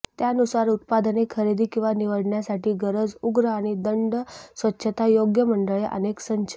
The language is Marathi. त्यानुसार उत्पादने खरेदी किंवा निवडण्यासाठी गरज उग्र आणि दंड स्वच्छता योग्य मंडळे अनेक संच